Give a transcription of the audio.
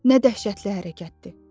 Nə dəhşətli hərəkətdir!